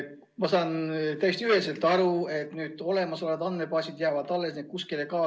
Ma saan täiesti üheselt aru, et olemasolevad andmebaasid jäävad alles, need kuskile ei kao.